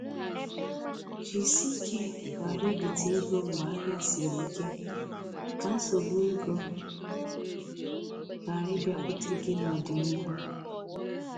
Jisike ghara ibite ego mgbe ahịa siri ike, ka nsogbu ego ghara ịbịakwute gị n'ọdịnihu